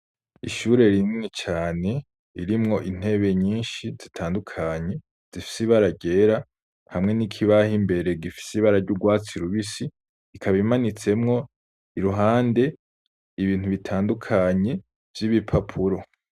Ishure rinini cane ririmwo intebe yinshi zitandukanye, zifise ibara ryera, hamwe n'ikibaho imbere gifise ibara ry'urwatsi rubisi. Ikaba imanitsemwo iruhande, ibintu bitandukanye vy'ibipapuro.